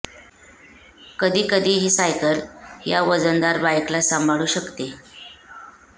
कधी कधी ही सायकल या वजनदार बाइकला सांभाळू शकते